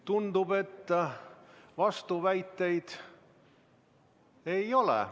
Tundub, et vastuväiteid ei ole.